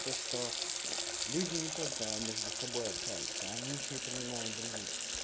то что люди не только между собой общаются они ещё и принимают других